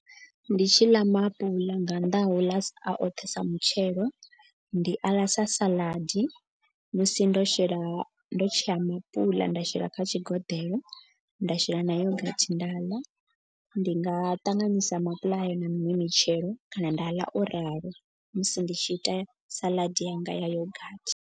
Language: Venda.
Ndi tshi ḽa maapuḽa nga nnḓa ho ḽa a oṱhe sa mutshelo. Ndi aḽa sa saḽadi musi ndo shela ndo tshea maapuḽa nda shela kha tshigoḓeḽo nda shela na yogathi nda ḽa. Ndi nga ṱanganyisa maapuḽa ayo na miṅwe mitshelo kana nda ḽa o ralo musi ndi tshi ita salad yanga ya yogathi.